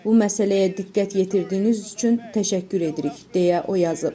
Bu məsələyə diqqət yetirdiyiniz üçün təşəkkür edirik, deyə o yazıb.